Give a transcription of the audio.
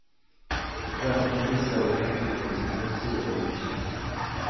Röntgen visade frakturen på höger sida av underkäken.